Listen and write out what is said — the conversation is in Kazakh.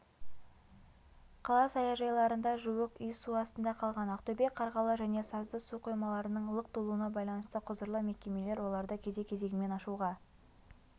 қала саяжайларында жуық үй су астында қалған ақтөбе қарғалы және сазды су қоймаларының лық толуына байланысты құзырлы мекемелер оларды кезек-кезегімен ашуға